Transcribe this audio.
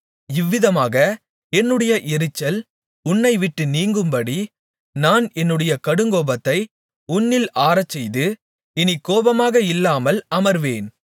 இவ்விதமாக என்னுடைய எரிச்சல் உன்னை விட்டு நீங்கும்படி நான் என்னுடைய கடுங்கோபத்தை உன்னில் ஆறச்செய்து இனி கோபமாக இல்லாமல் அமர்வேன்